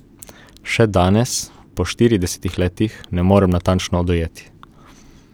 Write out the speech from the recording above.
Še danes, po štiridesetih letih, ne morem natančno dojeti.